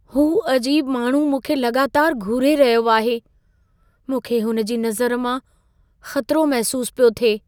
हू अजीब माण्हू मूंखे लॻातार घूरे रहियो आहे। मूंखे हुन जी नज़र मां ख़तिरो महसूसु पियो थिए।